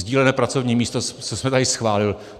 Sdílená pracovní místa, co jsme tady schválili.